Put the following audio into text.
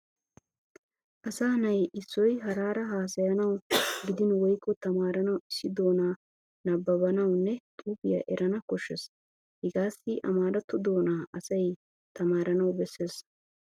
Asa na'i issoy haraara haasayanawu gidin woykko tamaaranawu issi doonaa nabbabuwanne xuufiya erana koshshees. Hegaassi amaaratto doonaa asay tamaaranawu bessees.